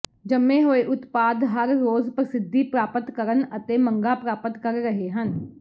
ਜੰਮੇ ਹੋਏ ਉਤਪਾਦ ਹਰ ਰੋਜ਼ ਪ੍ਰਸਿੱਧੀ ਪ੍ਰਾਪਤ ਕਰਨ ਅਤੇ ਮੰਗਾਂ ਪ੍ਰਾਪਤ ਕਰ ਰਹੇ ਹਨ